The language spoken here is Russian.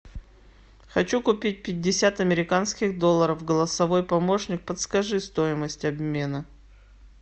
хочу купить пятьдесят американских долларов голосовой помощник подскажи стоимость обмена